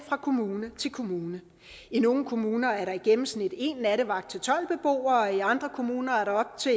fra kommune til kommune i nogle kommuner er der i gennemsnit en nattevagt til tolv beboere og i andre kommuner er der op til